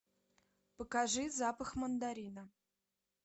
покажи запах мандарина